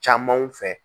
Camanw fɛ